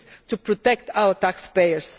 It is to protect our taxpayers